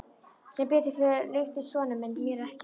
Sem betur fór líktist sonur minn mér ekki.